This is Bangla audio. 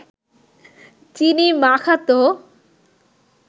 চিনি মাখাত